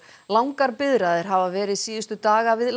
langar biðraðir hafa verið síðustu daga við